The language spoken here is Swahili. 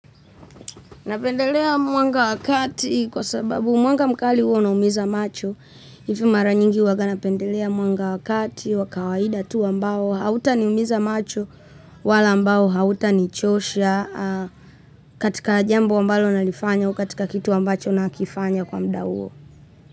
Napendelea mwanga wa kati kwa sababu mwanga mkali huwa unaumiza macho. Hivo mara nyingi huwaga napendelea mwanga wa kati wa kawaida tu ambao hautaniumiza macho wala ambao hautanichosha katika jambo ambalo nalifanya au katika kitu ambacho nakifanya kwa muda huo.